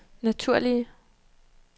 naturlige